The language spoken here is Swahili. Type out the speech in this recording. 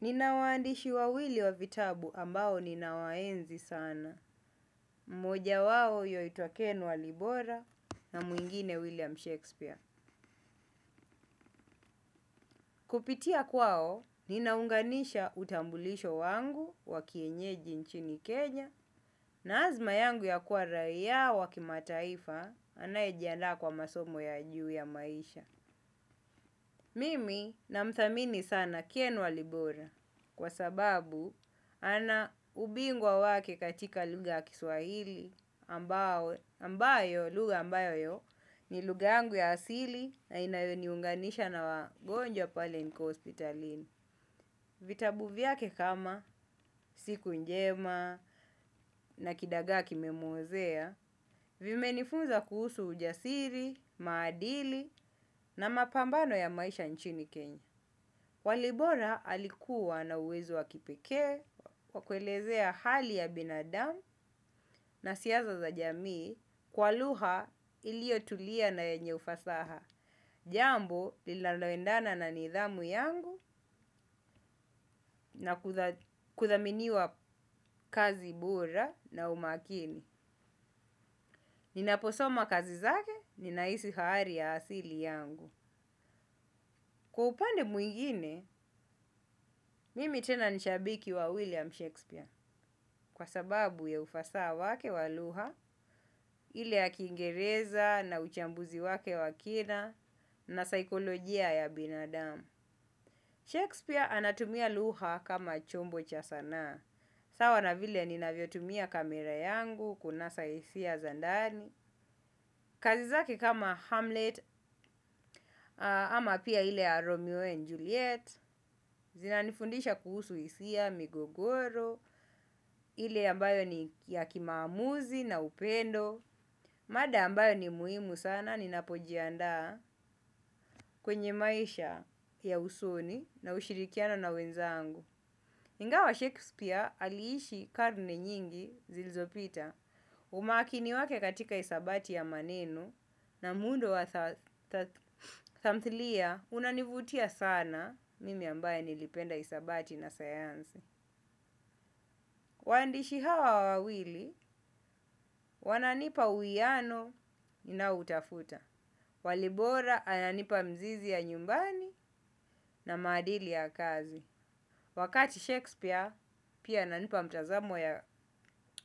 Nina waandishi wawili wa vitabu ambao ninawaenzi sana, mmoja wao ywaitwa Ken Walibora na mwingine William Shakespeare. Kupitia kwao, ninaunganisha utambulisho wangu wa kienyeji nchini Kenya na azma yangu ya kuwa raia wa kimataifa anaye jiandaa kwa masomo ya juu ya maisha. Mimi namthamini sana Ken Walibora kwa sababu ana ubingwa wake katika lugha ya Kiswahili ambayo ambayo lugha ambayo ni lugha yangu ya asili na inayoniunganisha na wagonjwa pale nikiwa hospitalini. Vitabu vyake kama siku njema na kidagaa kimemwozea vimenifunza kuhusu ujasiri, maadili na mapambano ya maisha nchini kenya. Walibora alikuwa na uwezo wa kipekee wa kuelezea hali ya binadamu na siasa za jamii kwa lugha iliyo tulia na yenye ufasaha. Jambo lilalo endana na nidhamu yangu na kuthaminiwa kazi bora na umakini. Ninaposoma kazi zake, ninahisi haari ya asili yangu. Kwa upande mwingine, mimi tena ni shabiki wa William Shakespeare kwa sababu ya ufasaha wake wa lugha, ile ya kingereza na uchambuzi wake wa kina na saikolojia ya binadamu. Shakespeare anatumia lugha kama chombo cha sanaa sawa na vile ninavyo tumia kamera yangu kunasa hisia za ndani. Kazi zake kama Hamlet ama pia ile ya Romeo and Juliet, zinanifundisha kuhusu hisia, migogoro, ile ambayo ni ya kimaamuzi na upendo, mada ambayo ni muhimu sana ninapojiandaa kwenye maisha ya usoni na ushirikiano na wenzangu. Ingawa Shakespeare aliishi karne nyingi zilizo pita. Umakini wake katika hisabati ya maneno na muundo wa tamthilia unanivutia sana mimi ambaye nilipenda hisabati na sayansi. Waandishi hawa wawili wananipa uwiano ninao utafuta. Walibora ananipa mzizi ya nyumbani na maadili ya kazi. Wakati Shakespeare pia ananipa mtazamo ya